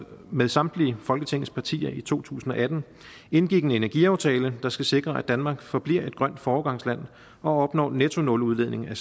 med samtlige folketingets partier i to tusind og atten indgik en energiaftale der skal sikre at danmark forbliver et grønt foregangsland og opnår nettonuludledning af